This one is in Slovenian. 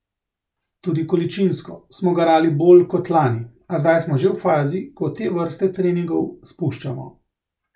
Tudi količinsko smo garali bolj kot lani, a zdaj smo že v fazi, ko te vrste treningov spuščamo.